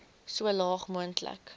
so laag moontlik